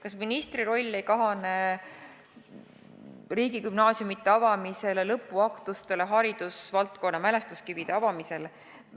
Kas ministri roll ei kahane riigigümnaasiumide avamisel, lõpuaktustel, haridusvaldkonna mälestuskivide avamisel?